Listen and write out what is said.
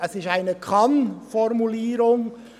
Es ist eine Kann-Formulierung.